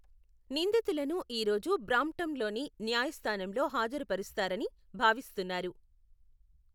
నిందితులను ఈరోజు బ్రాంప్టన్లోని న్యాయస్థానంలో హాజరు పరుస్తారని భావిస్తున్నారు.